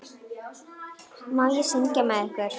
Má ég syngja með ykkur?